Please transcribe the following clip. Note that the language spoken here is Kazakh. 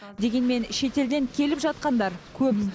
дегенмен шетелден келіп жатқандар көп